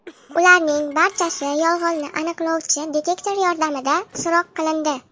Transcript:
Ularning barchasi yolg‘onni aniqlovchi detektor yordamida so‘roq qilindi.